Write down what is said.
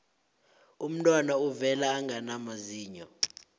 umntwana uvela angana mazinyo